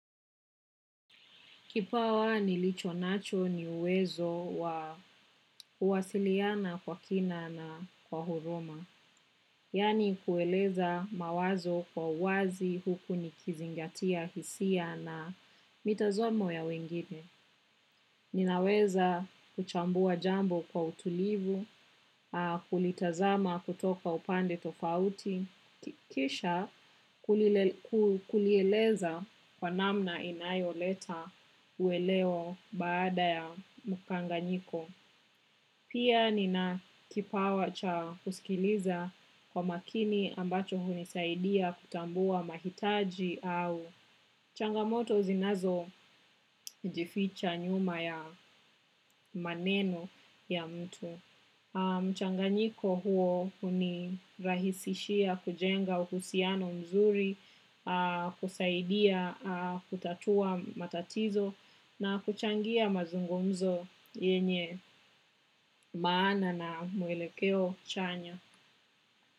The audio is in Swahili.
Kipawa nilicho nacho ni uwezo wa uwasiliana kwa kina na kwa huruma. Yani kueleza mawazo kwa wazi huku nikizingatia hisia na mitazomo ya wengine. Ninaweza kuchambua jambo kwa utulivu, kulitazama kutoka upande tofauti. Ki kisha kulieleza kwa namna inayo leta uweleo baada ya mukanganyiko. Pia nina kipawa cha kuskiliza kwa makini ambacho hunisaidia kutambua mahitaji au. Changamoto zinazo jificha nyuma ya maneno ya mtu. Mchanganyiko huo unirahisishia kujenga uhusiano mzuri, kusaidia kutatua matatizo na kuchangia mazungumzo yenye maana na muelekeo chanya.